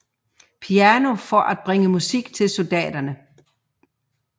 Piano for at bringe musik til soldaterne